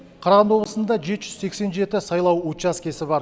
қарағанды облысында жеті жүз сексен жеті сайлау учаскесі бар